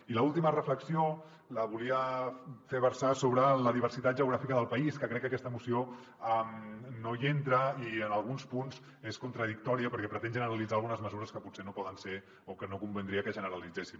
i l’última reflexió la volia fer versar sobre la diversitat geogràfica del país que crec que aquesta moció no hi entra i en alguns punts és contradictòria perquè pretén generalitzar algunes mesures que potser no poden ser o que no convindria que es generalitzessin